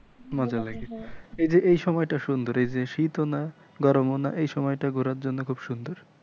মজা লাগে এই যে এই সময়টা সুন্দর এই যে শীত ও না গরম ও না এই সময়টা ঘুরার জন্য খুব সুন্দর।